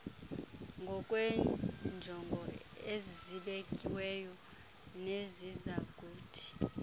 ngokweenjongo ezibekiweyo nezizakuthi